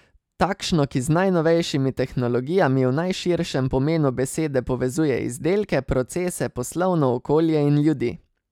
Takšno, ki z najnovejšimi tehnologijami v najširšem pomenu besede povezuje izdelke, procese, poslovno okolje in ljudi.